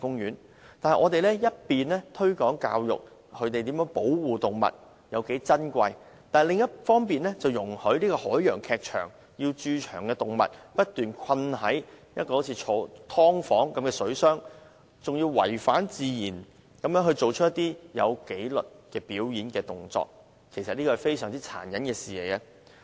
可是，我們一方面推廣保護動物，教育人們動物有多珍貴，但另一方面卻容許海洋劇場把駐場動物困在好像"劏房"一樣的水箱內，還要牠們違反自然地做出有紀律的表演動作，這是非常殘忍的事。